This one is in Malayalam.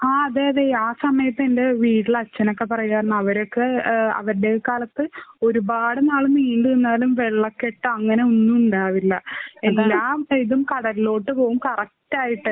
ആഹ് അതെ അതെ. ആ സമയത്ത് എന്റെ വീട്ടില് അച്ഛനൊക്കെ പറയായിരുന്നു അവര്ക്ക് അവരുടെ കാലത്ത് ഒരുപാട് നാള് നീണ്ടു നിന്നാലും വെള്ളക്കെട്ട് അങ്ങനെ ഒന്നും ഉണ്ടാവില്ല. എല്ലാ സൈഡും കടലിലോട്ട് പോവും കറക്റ്റായിട്ട്.